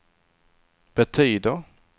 betyder